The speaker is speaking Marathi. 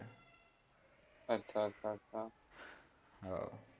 अच्छा, अच्छा, अच्छा, आह